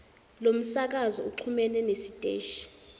lomsakazo uxhumene nesiteshi